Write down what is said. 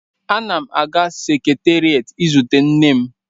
Ana m aga seketerịet izute nne m.